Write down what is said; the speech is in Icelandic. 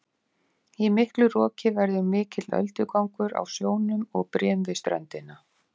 í miklu roki verður mikill öldugangur á sjónum og brim við ströndina